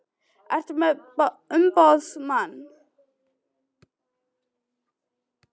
Ertu með umboðsmann?